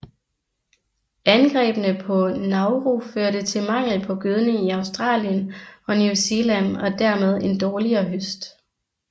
Angrebene på Nauru førte til mangel på gødning i Australien og New Zealand og dermed en dårligere høst